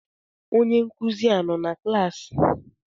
Onye nkụzi a nọ na klaasị?